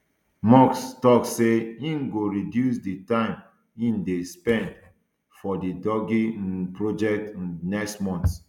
musk tok say im go reduce di time im dey spend for di doge um project um next month